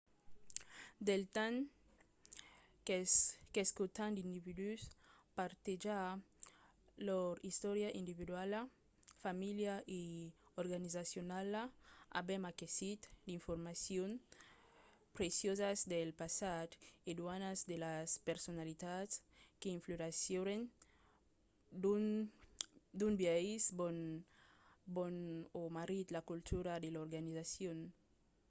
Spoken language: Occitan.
del temps qu’escotam d’individus partejar lor istòria individuala familiala e organizacionala avèm aquesit d’informacions preciosas del passat e d’unas de las personalitats que influencièron d‘un biais bon o marrit la cultura de l’organizacion